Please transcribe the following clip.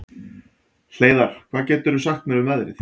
Hleiðar, hvað geturðu sagt mér um veðrið?